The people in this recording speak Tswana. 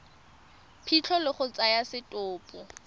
phitlho le go tsaya setopo